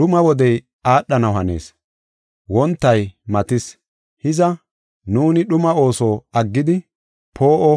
Dhuma wodey aadhanaw hanees; wontay matis. Hiza, nuuni dhuma ooso aggidi poo7o